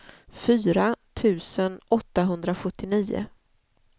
fyra tusen åttahundrasjuttionio